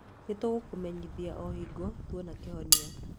Nĩ tũgũkũmenyithia o hingo tuona kĩhonia.